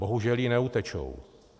Bohužel jí neutečou.